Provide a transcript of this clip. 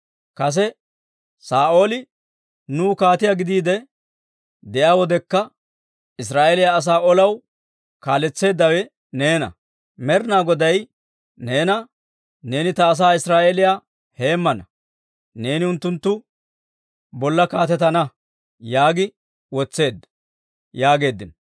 Kase Saa'ooli nuw kaatiyaa gidiide de'iyaa wodekka, Israa'eeliyaa asaa olaw kaaletseeddawe neena. Med'inaa Goday neena, ‹Neeni ta asaa Israa'eeliyaa heemmana; neeni unttunttu bolla kaatetana› yaagi wotseedda» yaageeddino.